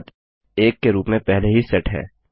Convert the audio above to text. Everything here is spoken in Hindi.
बढ़त 1 के रूप में पहले ही सेट है